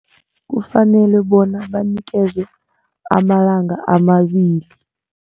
Kufanele bona banikelwe amalanga amabili.